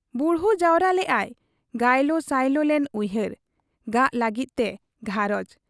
ᱵᱩᱲᱦᱩ ᱡᱟᱣᱨᱟ ᱞᱮᱜ ᱟᱭ ᱜᱟᱭᱞᱚ ᱥᱟᱭᱞᱚ ᱞᱮᱱ ᱩᱭᱦᱟᱹᱨ ᱾ ᱜᱟᱜᱽ ᱞᱟᱹᱜᱤᱫ ᱛᱮ ᱜᱷᱟᱨᱚᱸᱡᱽ ᱾